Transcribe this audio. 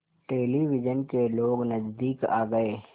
television के लोग नज़दीक आ गए